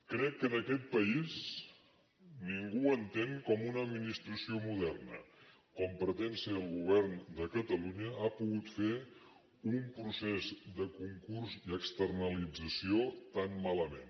crec que en aquest país ningú entén com una administració moderna com pretén ser el govern de catalunya ha pogut fer un procés de concurs i externalització tan malament